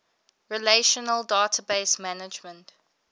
relational database management